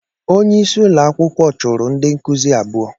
Onye isi ụlọakwukwo chụrụ ndị nkuzi abụọ.